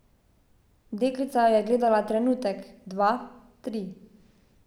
Deklica jo je gledala trenutek, dva, tri.